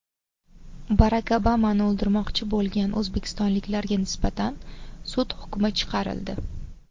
Barak Obamani o‘ldirmoqchi bo‘lgan o‘zbekistonliklarga nisbatan sud hukmi chiqarildi.